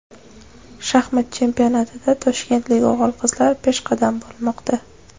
Shaxmat chempionatida toshkentlik o‘g‘il-qizlar peshqadam bo‘lmoqda.